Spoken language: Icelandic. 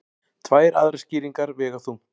Tvær aðrar skýringar vega þungt